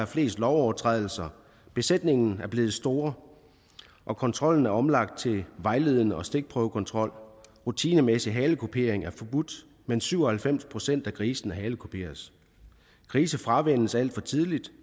flest lovovertrædelser besætningerne er blevet store og kontrollen er omlagt til vejledende og stikprøvekontrol rutinemæssig halekupering er forbudt men syv og halvfems procent af grisene halekuperes grise fravænnes alt for tidligt